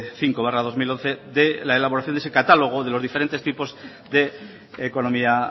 cinco barra dos mil once de la elaboración de ese catálogo de los diferentes tipos de economía